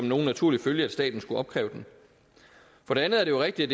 nogen naturlig følge at staten skulle opkræve den for det andet er det jo rigtigt